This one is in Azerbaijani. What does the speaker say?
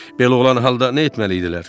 Belə olan halda nə etməlidirlər?